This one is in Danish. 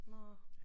Nåh